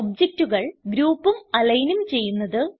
ഒബ്ജക്റ്റുകൾ ഗ്രൂപ്പും alignഉം ചെയ്യുന്നത്